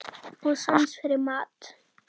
Og sans fyrir mat.